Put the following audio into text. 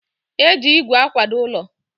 e ji igwe akwado ụlọ.